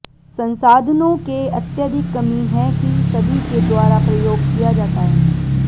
संसाधनों के अत्यधिक कमी है कि सभी के द्वारा प्रयोग किया जाता है